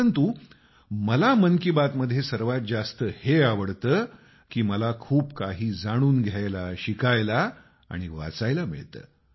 परंतु मला मन की बात मध्ये सर्वात जास्त हे आवडतं की मला खूप काही जाणून घ्यायला शिकायला आणि वाचायला मिळतं